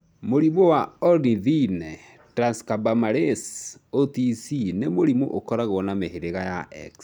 Mũrimũ wa Ornithine transcarbamylase (OTC) nĩ mũrimũ ũkoragwo wa mĩhĩrĩga ya X.